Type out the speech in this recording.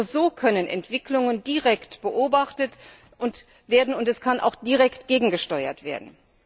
Nur so können Entwicklungen direkt beobachtet werden und kann auch direkt gegengesteuert werden.